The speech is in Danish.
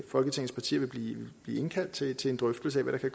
folketingets partier vil blive indkaldt til til en drøftelse af hvad der